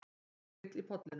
Makríll í Pollinum